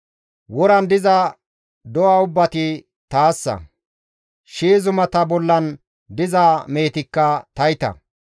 Woran diza do7a ubbati taassa; shii zumata bollan diza mehetikka tayta.